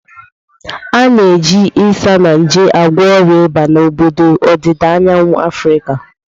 A na-eji Isanaje agwọ ọrịa ịba n'obodo ọdịda anyanwụ Afrịka.